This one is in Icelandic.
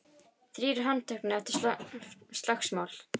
Þrír handteknir eftir slagsmál